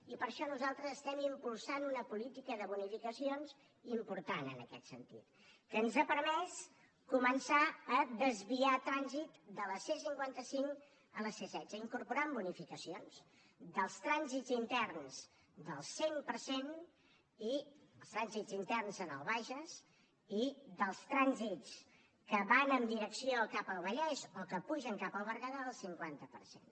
i per això nosaltres estem impulsant una política de bonificacions important en aquest sentit que ens ha permès començar a desviar trànsit de la c cinquanta cinc a la c setze incorporant bonificacions dels trànsits interns del cent per cent els trànsits interns en el bages i dels trànsits que van en direcció cap al vallès o que pugen cap al berguedà del cinquanta per cent